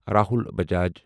Rahul Bajaj